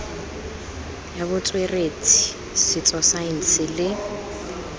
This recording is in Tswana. ya botsweretshi setso saense le